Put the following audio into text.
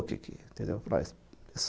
entendeu mas